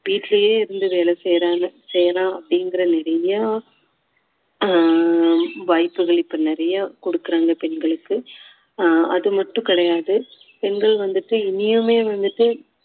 வீட்டுலேயே இருந்து வேலை செய்யுறாங்க செய்யலாம் அப்படிங்கிற நிறையா ஆஹ் வாய்ப்புகள் இப்போ நிறையா கொடுக்குறாங்க பெண்களுக்கு ஆஹ் அது மட்டும் கிடையாது பெண்கள் வந்துட்டு இன்னியுமே வந்துட்டு